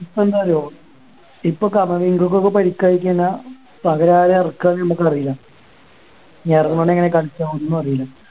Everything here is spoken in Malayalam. ഇപ്പൊ എന്താ അറിയാവോ ഇപ്പൊ കൾക്ക് ഒക്കെ പരിക്ക് ആയി കഴിഞ്ഞാ പകരം ആരെയാ എറക്കുക എന്ന് ഞമ്മക്ക് അറിയാം വെറുങ്ങനെ അങ്ങ് കളിച്ചാ ഒന്നും അറിയില്ല